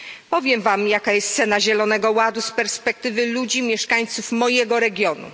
Powiem wam, jaka jest cena Zielonego Ładu z perspektywy ludzi mieszkańców mojego regionu.